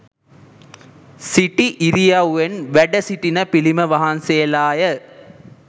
සිටි ඉරියව්වෙන් වැඩසිටින පිළිම වහන්සේලා ය